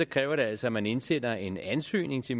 kræver det altså at man indsender en ansøgning til